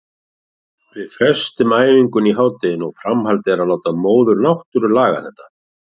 Við frestuðum æfingunni í hádeginu og framhaldið er að láta móður náttúru laga þetta.